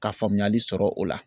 Ka faamuyali sɔrɔ o la